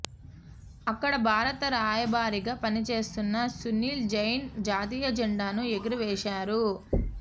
అక్కడ భారత రాయబారిగా పనిచేస్తున్న సునీల్ జైన్ జాతీయ జెండాను ఎగురవేశారు